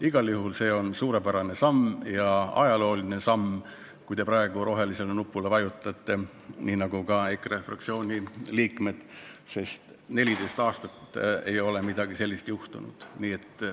Igal juhul on see suurepärane samm ja ajalooline samm, kui te praegu rohelisele nupule vajutate, nii nagu ka EKRE fraktsiooni liikmed, sest 14 aastat ei ole midagi sellist juhtunud.